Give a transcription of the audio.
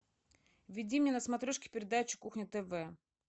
введи мне на смотрешке передачу кухня тв